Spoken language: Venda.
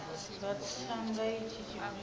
nga tsa nga itshi tshifhinga